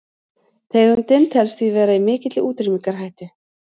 tegundin telst því vera í mikilli útrýmingarhættu